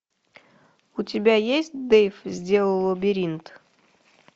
у тебя есть дэйв сделал лабиринт